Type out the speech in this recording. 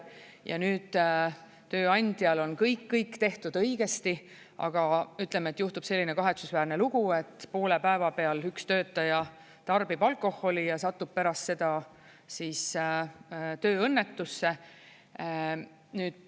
Ja nüüd tööandjal on kõik tehtud õigesti, aga ütleme, et juhtub selline kahetsusväärne lugu, et poole päeva peal üks töötaja tarbib alkoholi ja satub pärast seda tööõnnetusse.